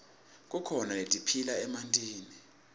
kukhona letiphila emantini